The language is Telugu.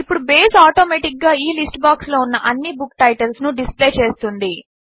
ఇప్పుడు బేస్ ఆటోమాటిక్ గా ఈ లిస్ట్ బాక్స్ లో ఉన్న అన్ని బుక్ టైటిల్స్ ను డిస్ప్లే చేస్తుంది